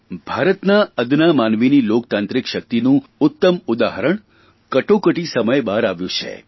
ભારતના અદના માનવીની લોકતાંત્રિક શકિતનું ઉત્તમ ઉદાહરણ કટોકટી સમયે બહાર આવ્યું છે